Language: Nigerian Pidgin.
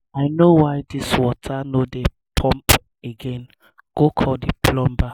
i no know why dis water no dey pump abeg go call the plumber